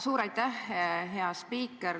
Suur aitäh, hea spiiker!